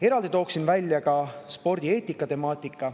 Eraldi toon välja ka spordieetika teema.